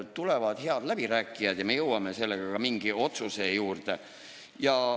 Tulevad head läbirääkijad ja me jõuame ka mingile otsusele.